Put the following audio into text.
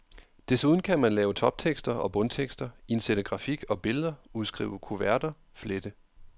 Desuden kan man lave toptekster og bundtekster, indsætte grafik og billeder, udskrive kuverter, flette.